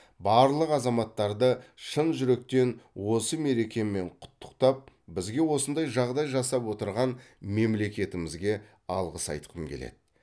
барлық азаматтарды шын жүректен осы мерекемен құттықтап бізге осындай жағдай жасап отырған мемлекетімізге алғыс айтқым келеді